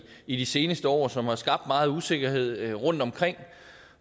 i de seneste år og som har skabt megen usikkerhed rundtomkring